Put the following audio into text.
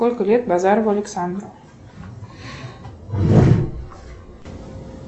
сколько лет базарову александру